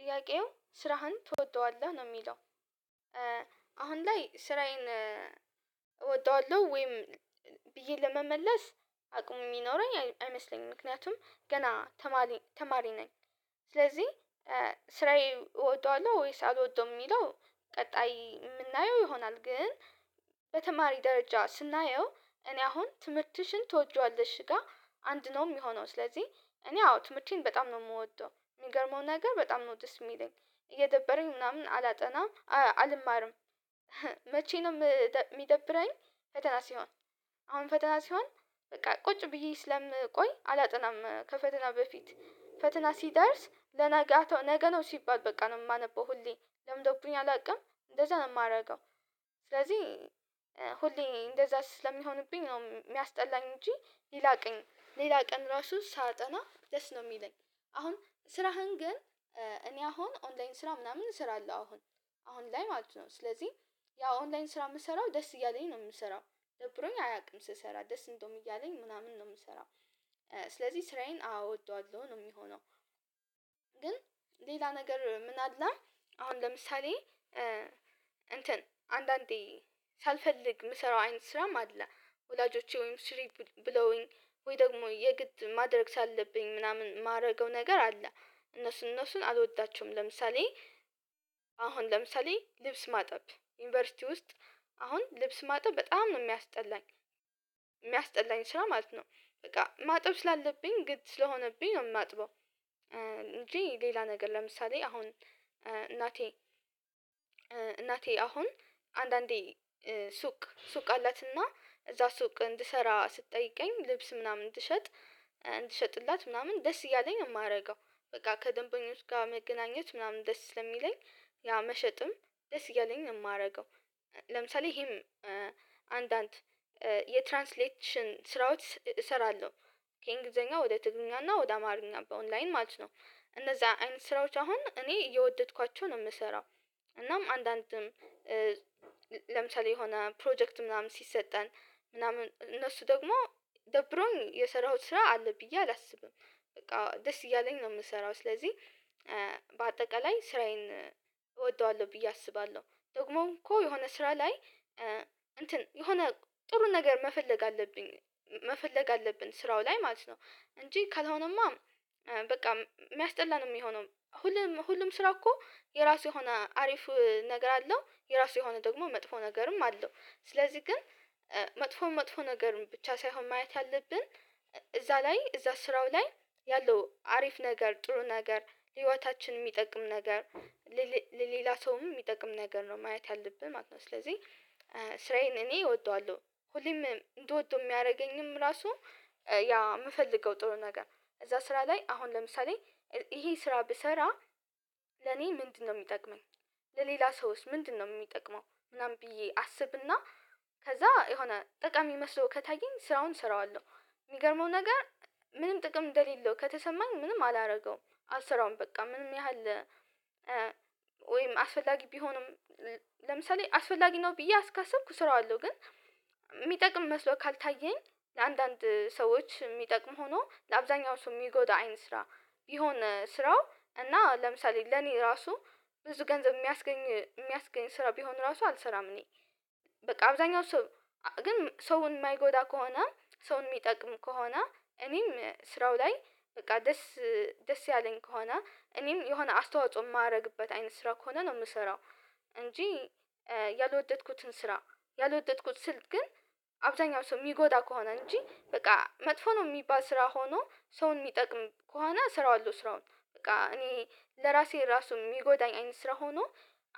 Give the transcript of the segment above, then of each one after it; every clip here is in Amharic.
ጥያቄው ስራህን ትወደዋለህ ነው የሚለው። አሁን ላይ ስራዬን እወደዋለሁ ወይም ብዬ ለመመለስ አቅሙ የሚኖረኝ አይመስለኝም ምክንያቱም ገና ተማሪ ነኝ ስለዚህ ስራዬን እወደዋለሁ ወይስ አልወደውም የሚለው ቀጣይ የምናየው ይሆናል ግን በተማሪ ደረጃ ስናየው እኔ አሁን ትምህርትሽን ትወጂዋለሽ ጋር አንድ ነው የሚሆነው ስለዚህ እኔ አዎ ትምህርቴን በጣም ነው የምወደው። የሚገርመው ነገር በጣም ነው ደስ የሚለኝ እየደበረኝ ምናምን አላጠናም አልማርም መቼ ነው የሚደብረኝ ፈተና ሲሆን አሁን ፈተና ሲሆን በቃ ቁጭ ብዬ ስለምቆይ አላጠናም ከፈተና በፊት ፈተና ሲደርስ በንጋታው ነገ ነው ሲባል በቃ ነው የማነበው ሁሌ ለምዶብኝ አላውቅም እንደዛ ነው የማደርገው። ስለዚህ ሁሌ እንደዛ ስለሚሆንብኝ ነው የሚያስጠላኝ እንጂ ሌላ ቀን ራሱ ሳጠና ደስ ነው የሚለኝ። አሁን ስራህን ግን እኔ አሁን ኦንላይን ስራ ምናምን እሰራለሁ አሁን አሁን ላይ ማለት ነው። ስለዚህ ያው አንላይን ስራ የምሰራው ደስ እያለኝ ነው የምሰራው። ደብሮኝ አያውቅም ስሰራ ደስ እንደውም እያለኝ ምናምን ነው የምሰራው ስለዚህ ስራዬን አዎ እወደዋሐሁ ነው የሚሆነው። ግን ሌላ ነገር ምን አለ አሁን ለምሳሌ እንትን አንዳንዴ ሳልፈልግ የምሰራው አይነት ስራም አለ። ወላጆቼ ወይም ስሪ ብለውኝ ወይ ደግሞ የግድ ማድረግ ስላለብኝ ምናምን የማደርገው ነገር አለ እነሱን እነሱን አልወዳቸውም። ለምሳሌ አሁን ለምሳሌ ልብስ ማጠብ ዩኒቨርሲቲ ውስጥ አሁን ልብስ ማጥብ በጣም ነው የሚያስጠላኝ የሚያስጠላኝ ስራ ማለት ነው። በቃ ማጠብ ስላለብኝ ግድ ስለሆነብኝ ነው የማጥበው። እንጂ ሌላ ነገር ለምሳሌ አሁን እናቴ እናቴ አሁን አንዳንዴ ሱቅ አላትና እዛ ሱቅ እንድሰራ ስትጠይቀኝ ልብስ ምናምን ስሸጥ እንትሸጥላት ምናምን ደስ እያለኝ ነው የማደርገው። በቃ ከደንበኞች ጋር መገናኘት ምናምን ደስ ስለሚለኝ ያ መሸጥም ደስ እያለኝ ነው የማደርገው። ለምሳሌ ይሄም አንዳንድ የትራንስሌችን ስራዎች እሰራለሁ። ከእንግሊዘኛ ወደ ትግልኛና ወደ አማርኛ በኦንላይን ማለት ነው። እነዛ አይነት ስራዎች አሁን እኔ እየወደድኳቸው ነው የምሰራው። እናም አንዳንድም ለምሳሌ የሆነ ፕሮጀክት ምናምን ሲሰጠን ምናምን እነሱ ደግሞ ደብሮኝ የሰራሁት ስራ አለ ብዬ አላስብም። በቃ ደስ እያለኝ ነው የምሰራው። ስለዚህ በአጠቃላይ ስራዬን እወደዋለሁ ብዬ አስባለሁ። ደግሞ እኮ የሆነ ስራ ላይ የሆነ ጥሩ ነገር መፈለግ አለብኝ መፈለግ አለብን ስራው ላይ ማለት ነው እንጂ ካልሆነማ በቃ የሚያስጠላ ነው የሚሆነው። ሁሉም ስራ እኮ የራሱ የሆነ አሪፍ ነገር አለው የራሱ የሆነ ደግሞ መጥፎ ነገርም አለው። ስለዚህ ግን መጥፎ መጥፎ ነገር ብቻ ሳይሆን ማየት ያለብን እዛ ላይ እዛ ስራው ላይ ያለው አሪፍ ነገር ጥሩ ነገር ህይወታችን የሚጠቅም ነገር። ሌላ ሰውም የሚጠቅም ነገር ነው። ማየት ያለብን ማለት ነው። ስለዚህ ስራዬን እኔ እወደዋለሁ ሁሌም እንደወደው የሚያደርገኝም ራሱ ያ የምፈልገው ጥሩ ነገር እዛ ስራ ላይ አሁን ለምሳሌ ይሄ ስራ ብሰራ ለኔ ምንድነው የሚጠቅመኝ? ለሌላ ሰውስ ምንድነው የሚጠቅመው ምናምን ብዬ አስብና ከዛ የሆነ ጠቃሚ መስሎ ከታየኝ ስራውን እሰራዋለሁ። የሚገርመው ነገር ምንም ጥቅም እንደሌለው ከተሰማኝ ምንም አላደርገውም። አልሰራውም በቃ ምንም ያህል ወይም አስፈላጊ ቢሆንም ለምሳሌ አስፈላጊ ነው ብዬ እስካሰብኩ ስራዋለሁ። ግን የሚጠቅም መስሎ ካልታየኝ አንዳንድ ሰዎች የሚጠቅም ሆኖ ለአብዛኛው ሰው የሚጎዳ አይን ስራ ቢሆን ስራው እና ለምሳሌ ለኔ ራሱ ብዙ ገንዘብ የሚያስገኝ ስራ ቢሆን ራሱ አልሰራም እኔ። በቃ አብዛኛው ሰው ግን ሰውን የማይጎዳ ከሆነ ሰውን የሚጠቅም ከሆነ እኔም ስራው ላይ በቃ ደስ ያለኝ ከሆነ እኔም የሆነ አስተዋጽኦ የማደርግበት አይነት ስራ ከሆነ ነው የምሰራው። እንጂ ያልወደድኩትን ስራ ያልወደድኩት ስልት ግን አብዛኛው ሰው የሚጎዳ ከሆነ እንጂ በቃ መጥፎ ነው የሚባል ስራ ሆኖ ሰውን የሚጠቅም ከሆነ እሰራዋለሁ። ስራውን በቃ እኔ ለራሴ ራሱ የሚጎዳኝ አይነት ስራ ሆኖ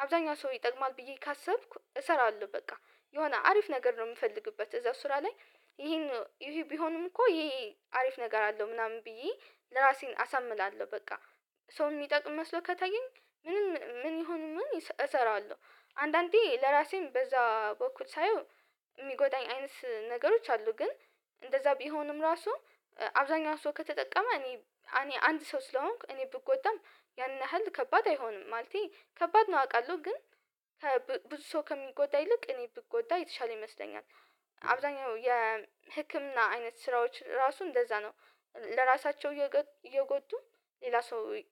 አብዛኛው ሰው ይጠቅማል ብዬ ካሰብኩ እሰራለሁ። በቃ የሆነ አሪፍ ነገር ነው የምፈልግበት እዛ ስራ ላይ ይሄን ቢሆንም እኮ ይሄ አሪፍ ነገር አለው ምናምን ብዬ ለራሴን አሳምላለሁ በቃ። ሰው የሚጠቅም መስሎ ከታየኝ ምንም ምን ይሁን ምን እሰራዋለሁ። አንዳንዴ ለራሴም በዛ በኩል ሳየው የሚጎዳኝ አይነት ነገሮች አሉ። ግን እንደዛ ቢሆንም ራሱ አብዛኛው ሰው ከተጠቀመ እኔ አንድ ሰው ስለሆንክ እኔ ብጎዳም ያን ያህል ከባድ አይሆንም። ማለቴ ከባድ ነው አውቃለሁ ግን ብዙ ሰው ከሚጎዳ ይልቅ እኔ ብጎዳ የተሻለ ይመስለኛል። አብዛኛው የህክምና አይነት ስራዎች ራሱ እንደዛ ነው። ለራሳቸው እየጎዱ ሌላ ሰው